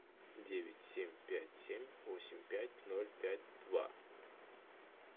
девять семь пять семь восемь пять ноль пять два